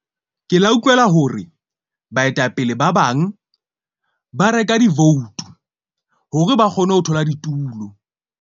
Ke la utlwela hore baetapele ba bang ba reka di-vote hore ba kgone ho thola ditulo.